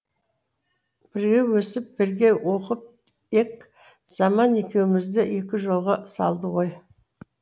бірге өсіп бірге оқып ек заман екеумізді екі жолға салды ғой